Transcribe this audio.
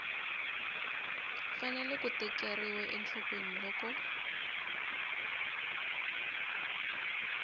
fanele ku tekeriwa enhlokweni loko